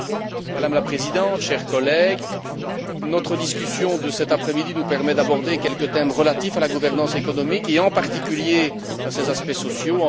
Voilà, Madame la Présidente, chers collègues, notre discussion de cet après midi nous permet d'aborder quelques thèmes relatifs à la gouvernance économique et, en particulier, à ses aspects sociaux.